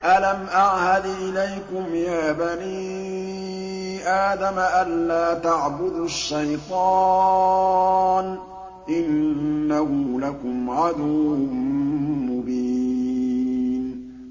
۞ أَلَمْ أَعْهَدْ إِلَيْكُمْ يَا بَنِي آدَمَ أَن لَّا تَعْبُدُوا الشَّيْطَانَ ۖ إِنَّهُ لَكُمْ عَدُوٌّ مُّبِينٌ